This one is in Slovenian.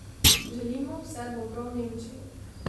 Želim mu vse dobro v Nemčiji.